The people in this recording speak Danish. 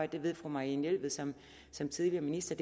det ved fru marianne jelved som som tidligere minister at